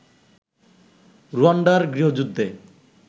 রুয়াণ্ডার গৃহযুদ্ধে